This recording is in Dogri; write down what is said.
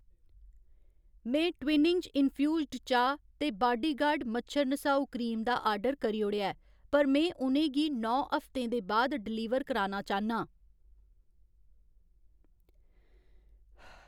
में ट्वीनिंग्ज इन्फ्यूजन चाह् ते बाडीगार्ड मच्छर नसाऊ क्रीम दा आर्डर करी ओड़ेआ ऐ, पर में उ'नें गी नौ हफ्तें दे बाद डलीवर कराना चाह्न्नां।